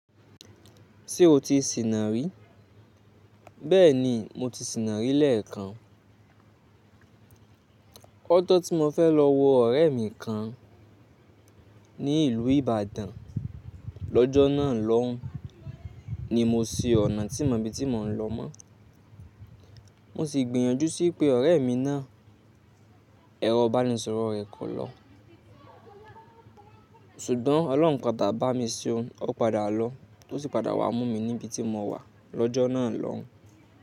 Ṣé o ti sìnà rí? Bẹ́ẹ̀ni mo ti sìnà rí lẹ́ẹ̀kan. Lojọ̀ tí mo fẹ́ lọ wo ọ̀rẹ́ mi kan ní ìlú Ibadan lọ́jọ́ náà lọ́hùn ni mo si ọ̀nà tí n mọ ibi tí mò ń lọ mọ́. Mo sì gbìyànjú sí pé ọ̀rẹ́ mi náà, ẹ̀rọ ìbánisọ̀rọ̀ rẹ̀ kọ̀ lo. Ṣùgbọ́n Ọlọ́un padà bá mi ṣe o. Ó padà lọ, ó sì padà wá mú mi níbi tí mo wà lọ́jọ́ náà lọ́hùn.